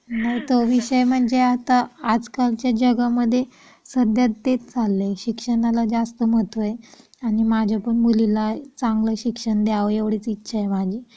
हो तो विषय म्हणजे आता आजकालच्या जगामध्ये सध्या तेच चाललंय शिक्षणाला जास्त महत्त्व आहे आणि माझ्या पण मुलीला चांगलं शिक्षण द्यावं एवढीच इच्छा आहे माझी